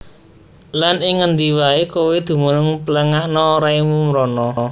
Lan ing ngendi waé kowé dumunung pléngakna raimu mrana